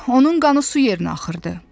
Onun qanı su yerinə axırdı.